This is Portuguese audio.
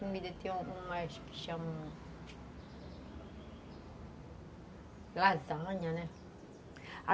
Tem umas que se chamam lasanha, né?